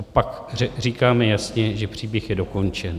A pak říkáme jasně, že příběh je dokončen.